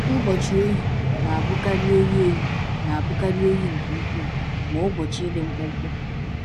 Ụbọchị oyi na-abụkarị oyi oyi na-abụkarị oyi nke ukwuu, ma ụbọchị dị mkpụmkpụ.